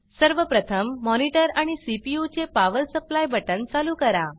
सर्व प्रथम monitorमॉनिटर आणि सीपीयू चे पॉवर supplyपावर सप्लाइ बटन चालू करा